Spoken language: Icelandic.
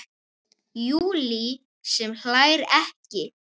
Júlía sem hlær ekki.